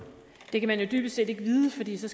det